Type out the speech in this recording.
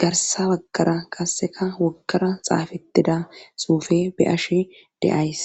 garsa baggara qasseka woggara xaafetida xuufe be'ashe days.